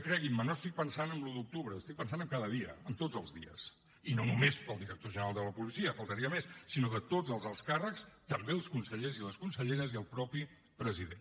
creguin me no estic pensant en l’un d’octubre estic pensant en cada dia en tots els dies i no només pel director general de la policia només faltaria sinó tots els alts càrrecs també els consellers i les conselleres i el mateix president